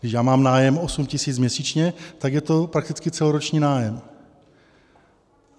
Když já mám nájem 8 000 měsíčně, tak je to prakticky celoroční nájem.